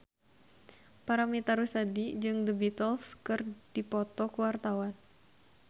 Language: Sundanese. Paramitha Rusady jeung The Beatles keur dipoto ku wartawan